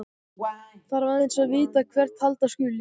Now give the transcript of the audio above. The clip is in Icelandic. Þarf aðeins að vita hvert halda skuli.